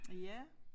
Ja